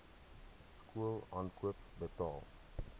skool aankoop betaal